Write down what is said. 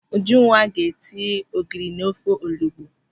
Ujunwa ga-etinye ogiri n'ofe olugbu.